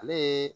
Ale ye